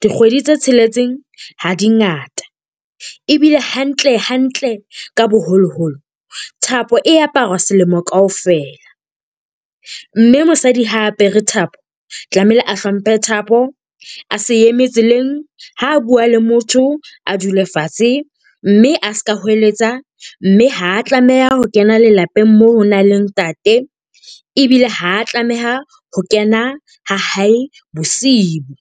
Dikgwedi tse tsheletseng ha di ngata, ebile hantlehantle ka boholoholo, thapo e aparwa selemo kaofela. Mme mosadi ha a apere thapo tlamehile a hlomphe thapo. A se emetse tseleng, ha a bua le motho a dule fatshe. Mme a seka hoeletsa. Mme ha tlameha ho kena lelapeng moo ho nang le ntate. Ebile ha tlameha ho kena ha hae bosibu.